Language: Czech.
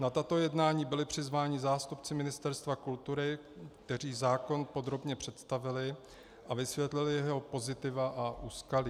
Na tato jednání byli přizváni zástupci Ministerstva kultury, kteří zákon podrobně představili a vysvětlili jeho pozitiva a úskalí.